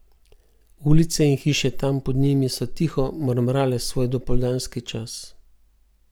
Ulice in hiše tam pod njim so tiho mrmrale svoj dopoldanski čas.